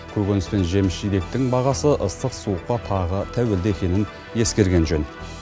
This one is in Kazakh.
көкөніс пен жеміс жидектің бағасы ыстық суыққа тағы тәуелді екенін ескерген жөн